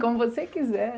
Como você quiser.